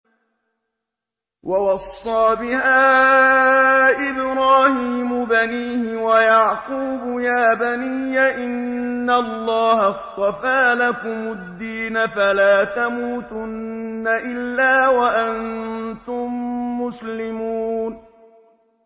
وَوَصَّىٰ بِهَا إِبْرَاهِيمُ بَنِيهِ وَيَعْقُوبُ يَا بَنِيَّ إِنَّ اللَّهَ اصْطَفَىٰ لَكُمُ الدِّينَ فَلَا تَمُوتُنَّ إِلَّا وَأَنتُم مُّسْلِمُونَ